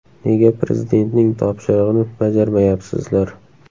Nega Prezidentning topshirig‘ini bajarmayapsizlar?